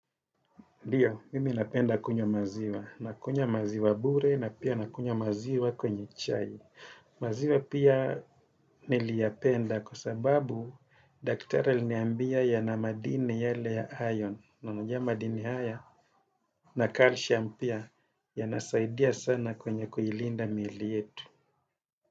Ndio, mimi napenda kunywa maziwa. Nakunywa maziwa bure na pia nakunywa maziwa kwenye chai. Maziwa pia niliyapenda kwa sababu daktari aliniambia ya na madini yale ya iron. Na najua madini haya na calcium pia ya nasaidia sana kwenye kuilinda miili yetu.